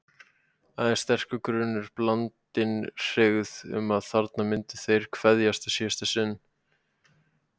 Aðeins sterkur grunur, blandinn hryggð, um að þarna myndu þeir kveðjast í síðasta sinn.